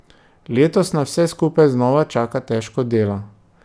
Letos nas vse skupaj znova čaka težko delo.